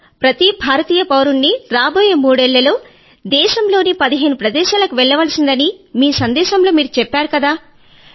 sir ప్రతి భారతీయ పౌరుడినీ రాబోయే మూడేళ్ళలో దేశంలోని పదిహేను ప్రదేశాలకు వెళ్లవలసిందని మీ సందేశంలో మీరు చెప్పారు కదా